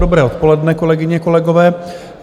Dobré odpoledne, kolegyně, kolegové.